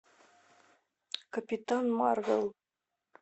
капитан марвел